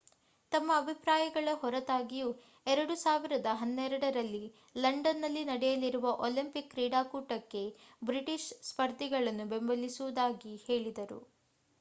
ತಮ್ಮ ಅಭಿಪ್ರಾಯಗಳ ಹೊರತಾಗಿಯೂ 2012 ರಲ್ಲಿ ಲಂಡನ್‌ನಲ್ಲಿ ನಡೆಯಲಿರುವ ಒಲಿಂಪಿಕ್ ಕ್ರೀಡಾಕೂಟಕ್ಕೆ ಬ್ರಿಟಿಷ್ ಸ್ಪರ್ಧಿಗಳನ್ನು ಬೆಂಬಲಿಸುವುದಾಗಿ ಹೇಳಿದರು